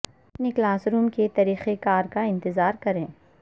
اپنے classroom کے طریقہ کار کا اندازہ کریں